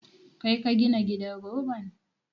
Kai ka gina gidan roban?